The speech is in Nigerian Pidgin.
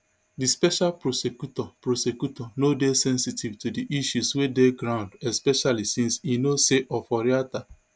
di special prosecutor prosecutor no dey sensitive to di issues wey dey ground especially since e know say oforiatta